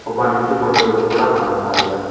ಒಬ್ಬ ನಿಂತುಕೊಂಡಿರುವುದು ಕೂಡ ಕಾಣಿಸ್ತಾ ಇದೆ.